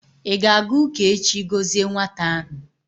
ị ga-aga ụka echi gọzie nwata ahụ?